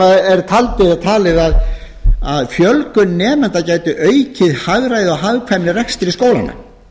skólar sem er talið að fjölgun nemenda gæti aukið hagræði og hagkvæmni í rekstri skólanna